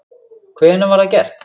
Hvenær var það gert?